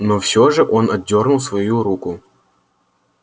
но все же он отдёрнул свою руку